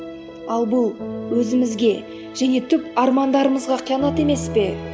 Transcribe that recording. ал бұл өзімізге және түп армандарымызға қиянат емес пе